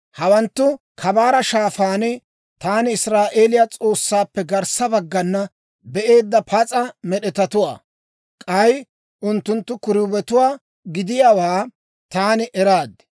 Hawanttu Kabaara Shaafaan taani Israa'eeliyaa S'oossaappe garssa baggana be'eedda pas'a med'etatuwaa; k'ay unttunttu kiruubetuwaa gidiyaawaa taani eraad.